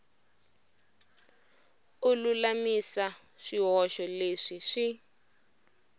u lulamisa swihoxo leswi swi